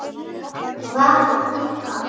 Var hún líka?